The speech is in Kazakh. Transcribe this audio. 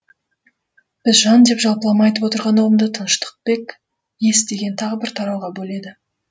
біз жан деп жалпылама айтып отырған ұғымды тыныштықбек ес деген тағы бір тарауға бөледі